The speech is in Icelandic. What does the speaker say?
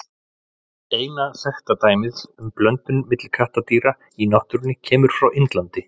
Eina þekkta dæmið um blöndun milli kattardýra í náttúrunni kemur frá Indlandi.